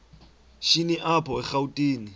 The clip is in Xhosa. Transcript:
shini apho erawutini